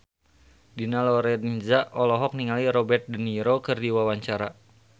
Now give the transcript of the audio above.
Dina Lorenza olohok ningali Robert de Niro keur diwawancara